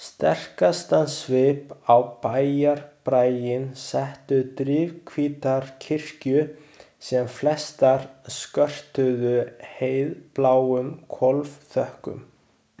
Sterkastan svip á bæjarbraginn settu drifhvítar kirkjur sem flestar skörtuðu heiðbláum hvolfþökum.